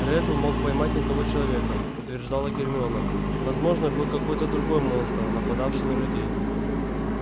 реддл мог поймать не того человека утверждала гермиона возможно был какой-то другой монстр нападавший на людей